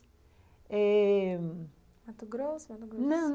É... Mato Grosso ou Mato Grosso? não...